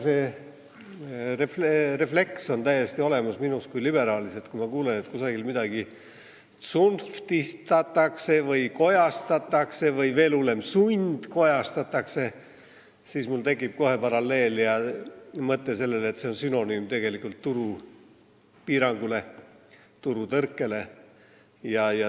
See refleks on minus kui liberaalis täiesti olemas: kui ma kuulen, et kusagil midagi tsunftistatakse, kojastatakse või, veel hullem, sundkojastatakse, siis mul läheb kohe mõte sellele, et see on tegelikult turupiirangu, turutõrke sünonüüm.